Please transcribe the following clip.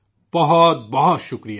بہت بہت شکریہ